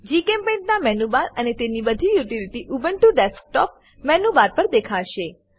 જીચેમ્પેઇન્ટ ના મેનુબાર અને તેની બધી યુટીલીટી ઉબ્નટુ ડેસ્કટોપ મેનુબાર પર દેખાશે